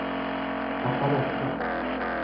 Haparanda